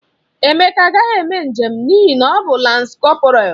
Emeka agaghị eme njem n'ihi na ọ bụ lans kọporal.